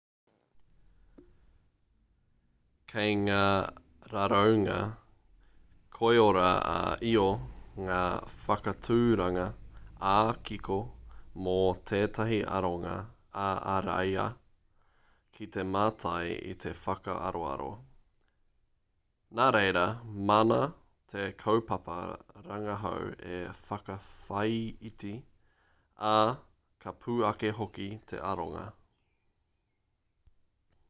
kei ngā raraunga koiora-ā-io ngā whakaaturanga ā-kiko mō tētahi aronga ā-ariā ki te mātai i te whakaaroaro nā reira māna te kaupapa rangahau e whakawhāiti ā ka pū ake hoki te aronga